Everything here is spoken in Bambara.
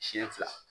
Siɲɛ fila